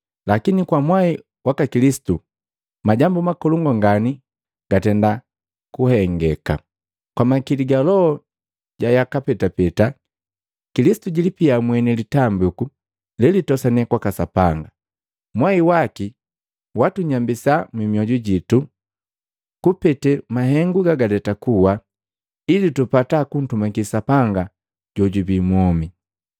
Lakini kwa mwai waka Kilisitu, majambu makolongu ngani gatenda kuhengeka! Kwa makili ga Loho ja yaka petapeta, Kilisitu jilipikia mweni litambiku lelitosane kwaka Sapanga. Mwai waki waatunyambisa mmioju jitu kupete mahengu gagaleta kuwa, ili tupata kuntumaki Sapanga jojubii mwomi.